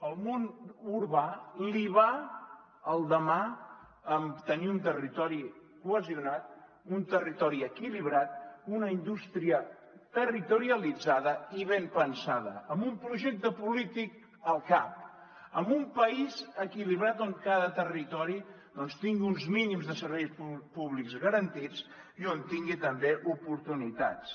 al món urbà li va el demà amb tenir un territori cohesionat un territori equilibrat una indústria territorialitzada i ben pensada amb un projecte polític al cap amb un país equilibrat on cada territori doncs tingui uns mínims de serveis públics garantits i tingui també oportunitats